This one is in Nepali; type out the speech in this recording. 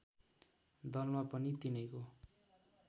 दलमा पनि तिनैको